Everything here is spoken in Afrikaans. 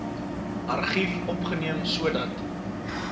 argief opgeneem sodat